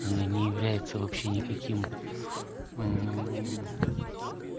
она не является вообще никаким